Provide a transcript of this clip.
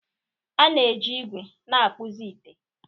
A na-eji ígwè na-akpụzi ite